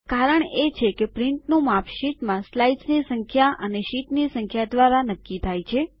કારણ એ છે કે પ્રિન્ટનું માપ શીટમાં સ્લાઇડ્સની સંખ્યા અને શીટની સંખ્યા દ્વારા નક્કી થાય છે